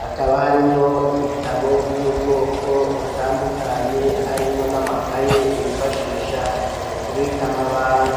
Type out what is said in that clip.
hakaba harimwo ibitabo vy'ubwoko butandukanye harimwo n'amakaye bifashisha mu kubika amabanga